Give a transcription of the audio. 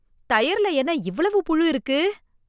தயிர்ல என்ன இவ்வளவு புழு இருக்கு